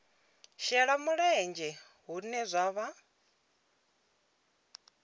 shela mulenzhe hune zwa vha